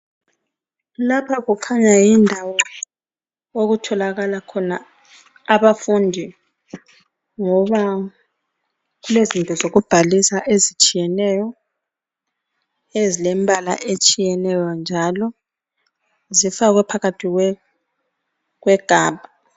lapha kukhanya yindawo okutholakala khona abafundi ngoba kulezinto zokubhalisa ezitshiyeneyo ezilembala etshiyeneyo njalo zifakwe phakathi kwegabha